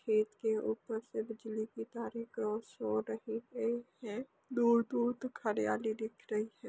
खेत के ऊपर से बिजली की तारें क्रॉस हो रही हैं यहाँ दूर-दूर तक हरियाली दिख रही है।